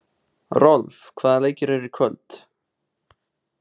Rolf, hvaða leikir eru í kvöld?